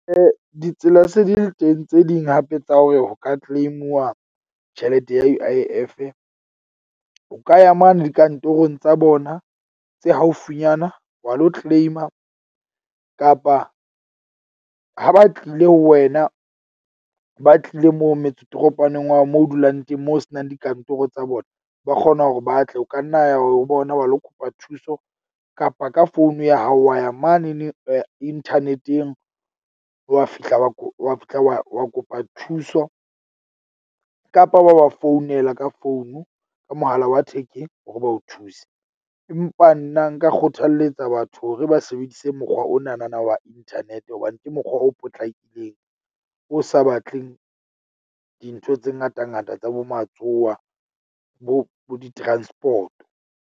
Ditsela se di le teng tse ding hape tsa hore ho ka claim-uwa tjhelete ya U_I_F-e. O ka ya mane dikantorong tsa bona tse haufinyana wa lo claim-a kapa ha ba tlile ho wena, ba tlile mo metse toropowaneng wa hao moo o dulang teng moo ho senang dikantoro tsa bona. Ba kgona hore ba tle o ka nna ya ho bona wa lo kopa thuso kapa ka founu ya hao wa ya mane neng internet-eng wa fihla wa wa fihla wa wa kopa thuso kapa wa founela ka founu ka mohala wa thekeng, hore ba o thuse. Empa nna nka kgothaletsa batho hore ba sebedise mokgwa ona na wa internet. Hobane ke mokgwa o potlakileng, o sa batleng dintho tse ngatangata tsa bo matsowa bo bo di-transport-o.